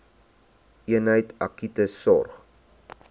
eenheid akute sorg